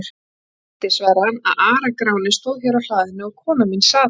Mig dreymdi, svaraði hann,-að Ara-Gráni stóð hér á hlaðinu og kona mín sat hann.